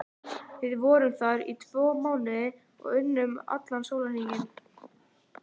Við vorum þar í tvo mánuði og unnum allan sólarhringinn.